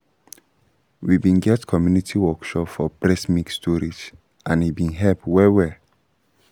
we been get community workshop for breast milk storage and e been help well-well